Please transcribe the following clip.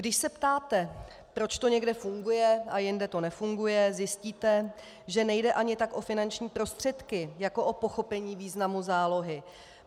Když se ptáte, proč to někde funguje a jinde to nefunguje, zjistíte, že nejde ani tak o finanční prostředky jako o pochopení významu zálohy.